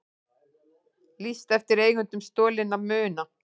Lýst eftir eigendum stolinna muna